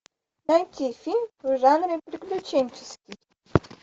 найти фильм в жанре приключенческий